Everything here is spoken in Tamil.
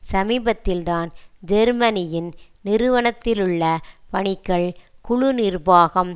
சமீபத்தில்தான் ஜெர்மனியின் நிறுவனத்திலுள்ள பணிக்கள் குழு நிர்வாகம்